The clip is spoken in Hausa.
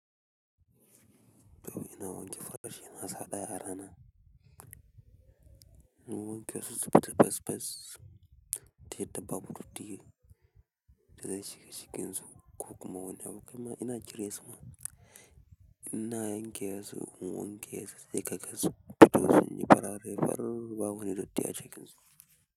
To ina wanke farashin na sa ɗaya rana. Ina wanke su fita fes fes, taya dabbabu datti da zai shiga cikin su ko kuma wani abu. Kaima ina jire su ma, ina gya su, wanke su, dai gaga su, fitosu ne farare, farar bawoni da taya shiga cikin su.